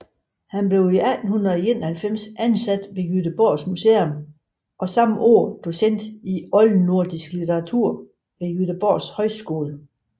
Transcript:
Han blev 1891 ansat ved Göteborgs Museum og samme år docent i oldnordisk litteratur ved Göteborgs Højskole